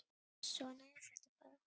Svona er þetta bara.